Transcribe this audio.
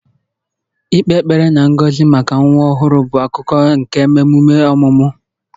Ịkpe ekpere na ngọzi maka nwa ọhụrụ bụ akụkụ nke emume ọmụmụ